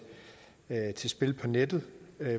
til spil på nettet